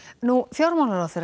fjármálaráðherra